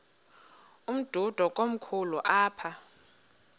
umdudo komkhulu apha